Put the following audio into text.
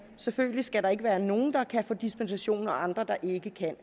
selvfølgelig skal der ikke være nogen der kan få dispensation og andre der ikke kan